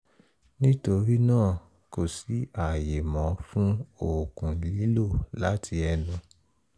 nítorí náà kò sí ààyè mọ́ fun òògùn lílò láti ẹnu